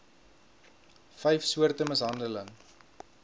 vyf soorte mishandeling